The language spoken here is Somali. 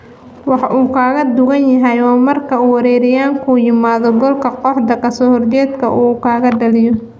Waxa uu kaga duwan yahay waa marka uu weeraryahanku yimaado goolka kooxda kasoo horjeeda oo uu dhaliyo.